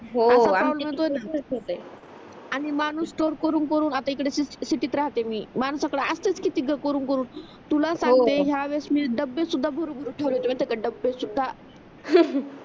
हो आणि माणूस तो करून करून आता इकडे शेत शेतीत राहते मी माणसाकडे असतेत किती ग करून करून तुला सागते या वेळेस मी डब्बे सुद्धा भरू भरून ठेवले होते डब्बे सुद्धा